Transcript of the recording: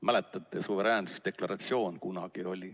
Mäletate, kunagi oli suveräänsusdeklaratsioon.